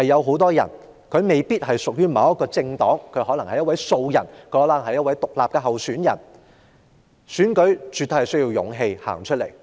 很多候選人未必屬於某一政黨，可能是一位素人或獨立參選，而參選絕對需要勇氣。